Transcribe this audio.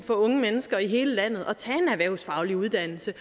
for unge mennesker i hele landet at tage en erhvervsfaglig uddannelse